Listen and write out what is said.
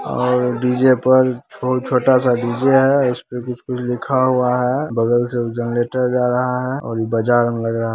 --और डी_जे पर छोटा सा डी_जे है उस पे कुछ-कुछ लिखा हुआ है बगल से जनरेटर जा रहा है और ये बाजार में लग रहा--